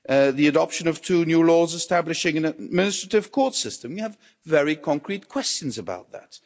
The adoption of two new laws establishing an administrative court system we have very concrete questions about that.